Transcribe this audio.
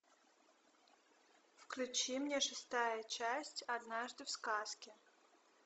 включи мне шестая часть однажды в сказке